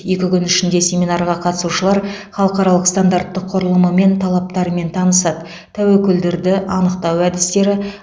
екі күн ішінде семинарға қатысушылар халықаралық стандартты құрылымы мен талаптарымен танысады тәуекелдерді анықтау әдістері